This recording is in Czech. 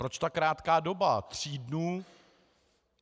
Proč ta krátká doba tří dnů?